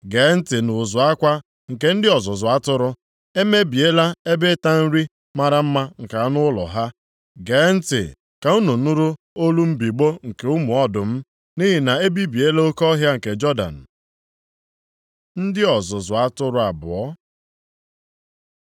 Gee ntị nʼụzụ akwa nke ndị ọzụzụ atụrụ, e mebiela ebe ịta nri mara mma nke anụ ụlọ ha. Gee ntị ka unu nụrụ olu mbigbọ nke ụmụ ọdụm, nʼihi na e bibiela oke ọhịa nke Jọdan. Ndị ọzụzụ atụrụ abụọ